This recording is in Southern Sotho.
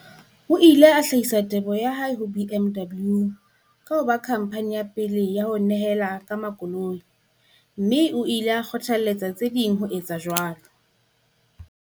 O ile a hlahisa teboho ya hae ho BMW ka ho ba khamphani ya pele ya ho nyehela ka makoloi, mme o ile a kgothaletsa tse ding ho etsa jwalo.